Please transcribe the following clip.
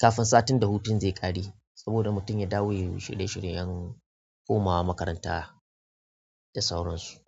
kafin satin da hutun zai ƙare saboda mutum ya dawo yayi shirye-shiryen komawa makaranta da sauran su.